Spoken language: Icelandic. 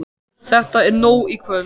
Þetta er orðið nóg í kvöld.